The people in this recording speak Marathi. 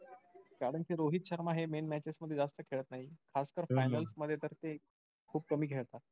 कारण कि रोहित शर्मा हे main matches मध्ये जास्त खेळत नाही. खास कर finals मध्ये तर ते खूप कमी खेळतात.